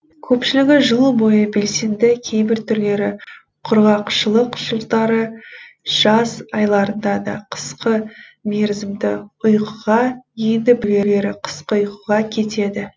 көпшілігі жыл бойы белсенді кейбір түрлері құрғақшылық жылдары жаз айларында да қысқа мерзімді ұйқыға енді біреулері қысқы ұйқыға кетеді